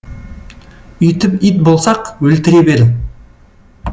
үйтіп ит болсақ өлтіре бер